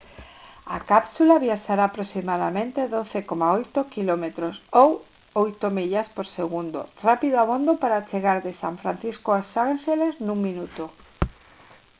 a cápsula viaxará a aproximadamente 12,8 km ou 8 millas por segundo rápido abondo para chegar de san francisco aos ánxeles nun minuto